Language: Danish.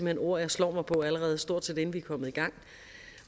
hen ord jeg slår mig på allerede stort set inden vi er kommet i gang